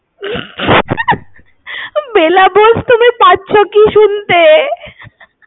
বেলা বোস তুমি পাচ্ছো কি শুনতে?